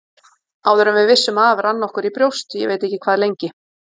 Áður en við vissum af rann okkur í brjóst, ég veit ekki hvað lengi.